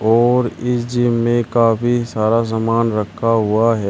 और इस जिम में काफी सारा सामान रखा हुआ है।